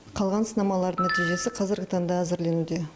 қалған сынамалар нәтижесі қазіргі таңда әзірленуде